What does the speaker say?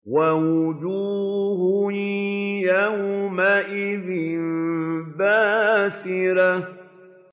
وَوُجُوهٌ يَوْمَئِذٍ بَاسِرَةٌ